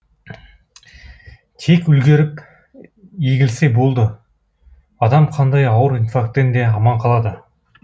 тек үлгеріп егілсе болды адам қандай ауыр инфарктен де аман қалады